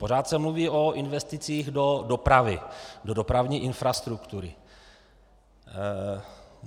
Pořád se mluví o investicích do dopravy, do dopravní infrastruktury.